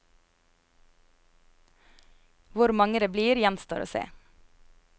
Hvor mange det blir, gjenstår å se.